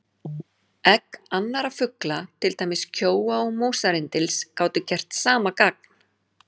Egg annarra fugla, til dæmis kjóa og músarrindils, gátu gert sama gagn.